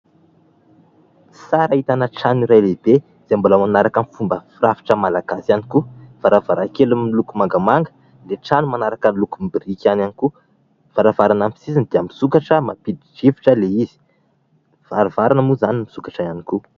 Sary ahitana trano iray lehibe izay mbola manaraka ny fomba firafitra malagasy ihany koa. Varavarankely miloko mangamanga, ny trano manaraka ny lokombiriky ihany koa; varavarana amin'ny sisiny dia misokatra mampidi-drivotra ilay izy. Varavarana moa izany misokatra ihany koa.